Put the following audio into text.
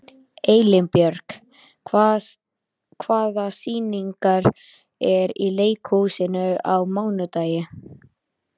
Elínbjörg, hvaða sýningar eru í leikhúsinu á mánudaginn?